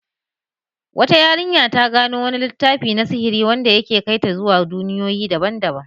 Wata yarinya ta gano wani littafi na sihiri wanda ya ke kai ta zuwa duniyoyi daban-daban.